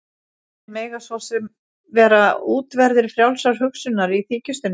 En þeir mega svo sem vera útverðir frjálsrar hugsunar- í þykjustunni.